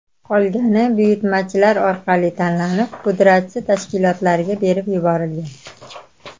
Qolgani buyurtmachilar orqali tanlanib, pudratchi tashkilotlarga berib yuborilgan.